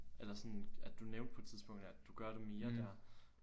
Eller sådan at du nævnte på et tidspunkt at du gør det mere dér